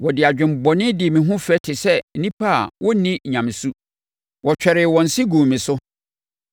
Wɔde adwemmɔne dii me ho fɛ te sɛ nnipa a wɔnni nyamesu; wɔtwɛree wɔn se guu me so.